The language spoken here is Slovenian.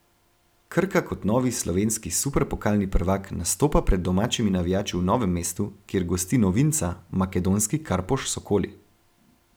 Krka kot novi slovenski superpokalni prvak nastopa pred domačimi navijači v Novem mestu, kjer gosti novinca, makedonski Karpoš Sokoli.